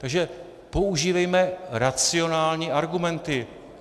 Takže používejme racionální argumenty.